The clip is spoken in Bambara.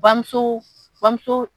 Bamuso bamuso